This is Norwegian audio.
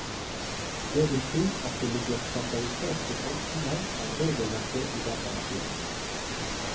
Det vil si at det ligger standardiserte tolkninger av regelverket i datamaskinen.